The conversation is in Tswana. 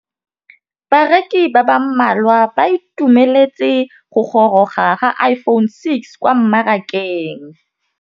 Bareki ba ba malwa ba ituemeletse go gôrôga ga Iphone6 kwa mmarakeng.